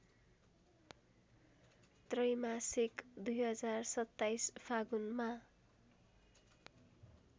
त्रैमासिक २०२७ फागुनमा